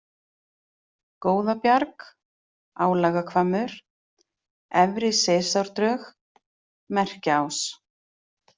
Góðabjarg, Álagahvammur, Efri-Seyðisárdrög, Merkjaás